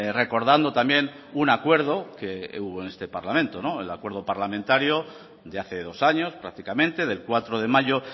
recordando también un acuerdo que hubo en este parlamento el acuerdo parlamentario de hace dos años prácticamente del cuatro de mayo